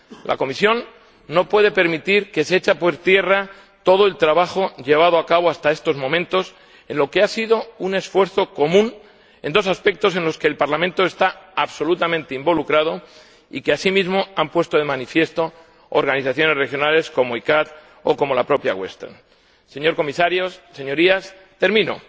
La Comisión no puede permitir que se eche por tierra todo el trabajo llevado a cabo hasta estos momentos, en lo que ha sido un esfuerzo común, en dos aspectos en los que el Parlamento está absolutamente involucrado y que, asimismo, han puesto de manifiesto organizaciones regionales como la CICAA o como la propia Comisión de Pesca del Pacífico Occidental y Central Señor Comisario, Señorías, termino.